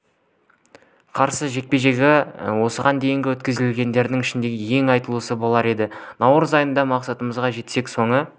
қарсы жекпе-жегі осыған дейін өткізгендерінің ішіндегі ең айтулысы болар еді наурыз айында мақсатымызға жетсек соңғы